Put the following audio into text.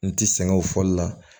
N ti sɛgɛn o fɔli la